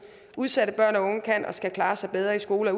udsatte børn og unge kan og skal klare sig bedre i skole og